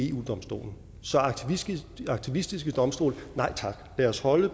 eu domstolen så aktivistiske domstole nej tak lad os holde